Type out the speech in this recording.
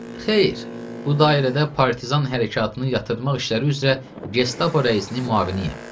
Xeyr, bu dairədə partizan hərəkatını yatırdmaq işləri üzrə Gestapo rəisinin müavinuyəm.